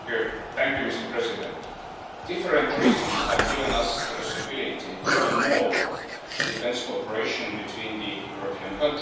Mr President, different reasons have given us the possibility to undertake more defence cooperation between the European countries.